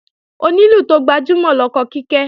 Onílù tó gbajúmọ̀ lọkọ Kíkẹ́